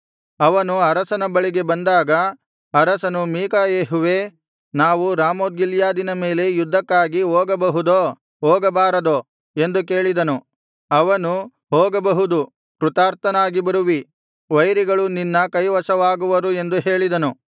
ಅವನು ಅರಸನ ಬಳಿಗೆ ಬಂದಾಗ ಅರಸನು ಮೀಕಾಯೆಹುವೇ ನಾವು ರಾಮೋತ್ ಗಿಲ್ಯಾದಿನ ಮೇಲೆ ಯುದ್ಧಕ್ಕಾಗಿ ಹೋಗಬಹುದೋ ಹೋಗಬಾರದೋ ಎಂದು ಕೇಳಿದನು ಅವನು ಹೋಗಬಹುದು ಕೃತಾರ್ಥನಾಗಿ ಬರುವಿರಿ ವೈರಿಗಳು ನಿನ್ನ ಕೈವಶವಾಗುವರು ಎಂದು ಹೇಳಿದನು